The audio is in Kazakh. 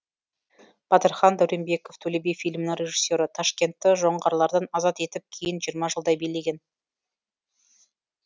батырхан дәуренбеков төле би фильмінің режиссері ташкентті жоңғарлардан азат етіп кейін жиырма жылдай билеген